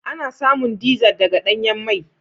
Ana samun dizar daga danyan mai.